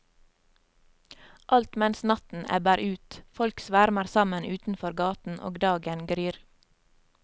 Alt mens natten ebber ut, folk svermer sammen utenfor gaten og dagen gryr.